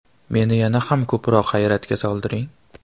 Meni yana ham ko‘proq hayratga solding.